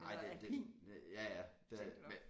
Nej det det ja ja der er med